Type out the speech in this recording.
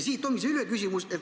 Siit tulenebki mu küsimus.